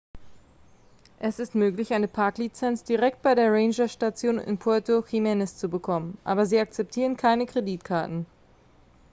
es ist möglich eine parklizenz direkt bei der rangerstation in puerto jiménez zu bekommen aber sie akzeptieren keine kreditkarten